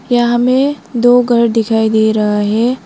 यहां हमें दो घर दिखाई दे रहा है।